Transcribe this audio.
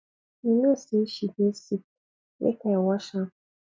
you know say she dey sick make i wash am